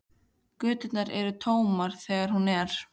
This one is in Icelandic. Göturnar eru tómar þegar hún er.